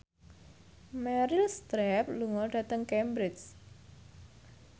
Meryl Streep lunga dhateng Cambridge